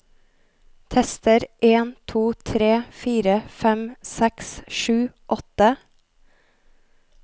Tester en to tre fire fem seks sju åtte